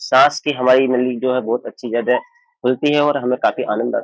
सांस की हमारी नली जो है बहुत अच्छी ज्यादा खुलती हैं और हमे काफी आनंद आता है।